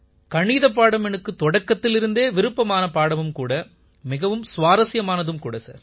கணிதப் பாடம் எனக்கு தொடக்கத்திலிருந்தே விருப்பமான பாடம் மிகவும் சுவாரசியமானதும் கூட சார்